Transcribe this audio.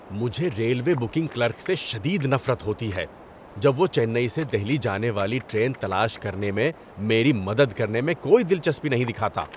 ‏مجھے railway booking clerk سے شدید نفرت ہوتی ہے جب وہ چنئی سے دہلی جانے والی ٹرین تلاش کرنے میں میری مدد کرنے میں کوئی دلچسپی نہیں دکھاتا۔